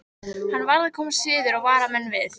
Hann varð að komast suður og vara menn við.